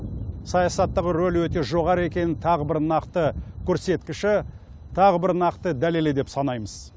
саясаттағы ролі өте жоғары екенін тағы бір нақты көрсеткіші тағы бір нақты дәлелі деп санаймыз